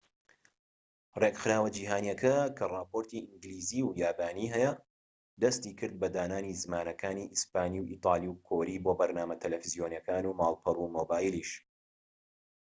ڕێکخراوە جیهانیکە کە راپۆرتی ئینگلیزی و یابانی هەیە دەستی کرد بە دانانی زمانەکانی ئیسپانی و ئیتالی و کۆری بۆ بەرنامە تەلەڤیزۆنیەکان و ماڵپەڕ و مۆبایلیش